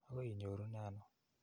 Akoi inyorune ano?